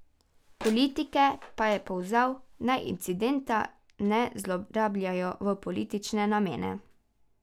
Politike pa je pozval, naj incidenta ne zlorabljajo v politične namene.